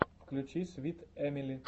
включи свит эмили